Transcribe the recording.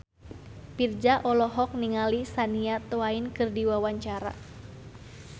Virzha olohok ningali Shania Twain keur diwawancara